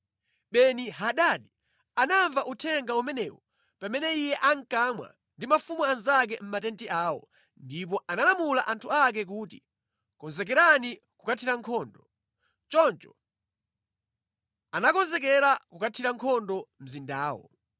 Beni-Hadadi anamva uthenga umenewu pamene iye ankamwa ndi mafumu anzake mʼmatenti awo, ndipo analamula anthu ake kuti, “Konzekerani kukathira nkhondo.” Choncho anakonzekera kukathira nkhondo mzindawo.